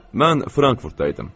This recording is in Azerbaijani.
Mən Frankfurtda idim.